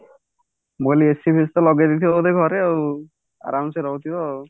ମୁଁ କହିଲି AC ଫେଷି ତ ଲଗେଇ ଦେଇଥିବ ବୋଧେ ଘରେ ଆଉ ଆରାମସେ ରହୁଥିବ ଆଉ